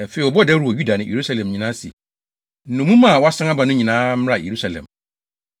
Afei, wɔbɔɔ dawuru wɔ Yuda ne Yerusalem nyinaa se, nnommum a wɔasan aba no nyinaa mmra Yerusalem.